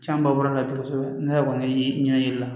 Caman ba bɔra la kosɛbɛ ne yɛrɛ kɔni ye ɲɛ yiri la